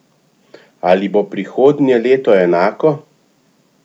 Ali bo prihodnje leto enako?